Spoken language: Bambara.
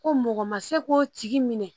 Ko mɔgɔ ma se k'o tigi minɛ